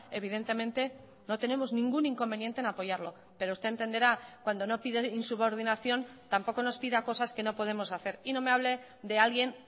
evidentemente no tenemos ningún inconveniente en apoyarlo pero usted entenderá cuando no pide insubordinación tampoco nos pida cosas que no podemos hacer y no me hable de alguien